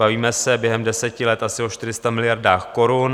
Bavíme se během deseti let asi o 400 miliardách korun.